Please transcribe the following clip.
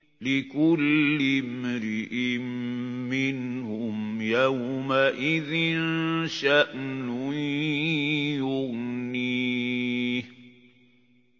لِكُلِّ امْرِئٍ مِّنْهُمْ يَوْمَئِذٍ شَأْنٌ يُغْنِيهِ